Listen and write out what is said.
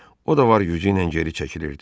O da var gücü ilə geri çəkilirdi.